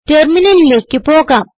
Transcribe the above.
ടെർമിനലിലേക്ക് പോകാം